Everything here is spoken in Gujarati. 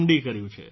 ડી કર્યું છે